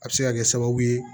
A bɛ se ka kɛ sababu ye